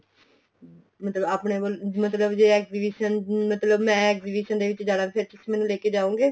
ਮਤਲਬ ਆਪਣੇ ਮਤਲਬ ਜ਼ੇ exhibition ਮਤਲਬ ਮੈਂ exhibition ਦੇ ਵਿੱਚ ਜਾਣਾ ਫ਼ੇਰ ਤੁਸੀਂ ਮੈਨੂੰ ਲੈਕੇ ਜਾਓਗੇ